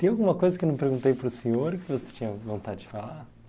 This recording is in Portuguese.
Tem alguma coisa que eu não perguntei para o senhor e que você tinha vontade de falar?